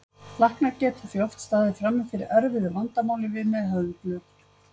Læknar geta því oft staðið frammi fyrir erfiðu vandamáli við meðhöndlun.